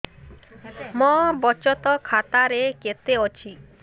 ମୋ ବଚତ ଖାତା ରେ କେତେ ଅଛି